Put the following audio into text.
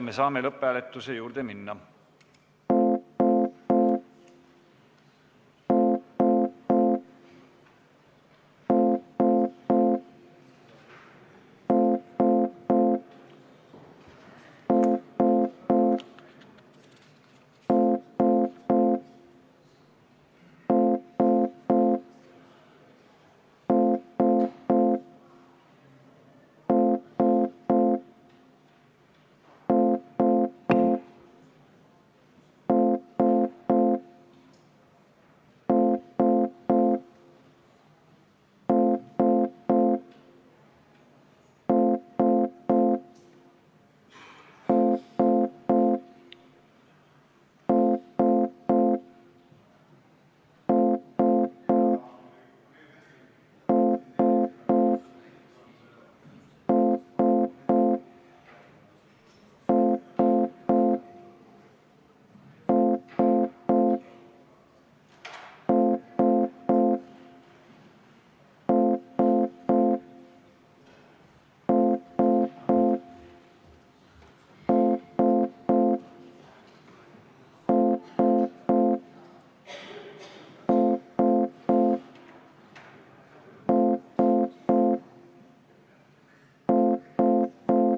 Me saamegi lõpphääletuse juurde minna.